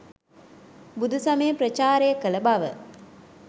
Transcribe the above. බුදු සමය ප්‍රචාරය කළ බව.